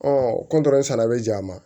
sala bɛ ja ma